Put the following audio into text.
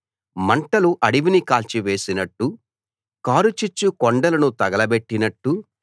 మంటలు అడవిని కాల్చివేసినట్టు కారుచిచ్చు కొండలను తగలబెట్టినట్టు